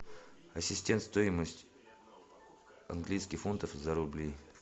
ассистент стоимость английских фунтов за рубли